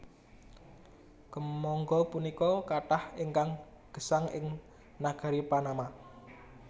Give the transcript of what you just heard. Kèmangga punika kathah ingkang gesang ing nagari Panama